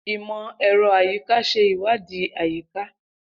Imọ-ẹrọ ayika ṣe iwadii ayika.